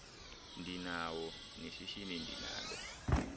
ndinawo neshishini ndinalo